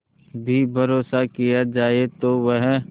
भी भरोसा किया जाए तो वह